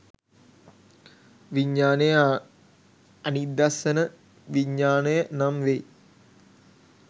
විඤ්ඤාණය අනිදස්සන විඤ්ඤාණය නම් වෙයි.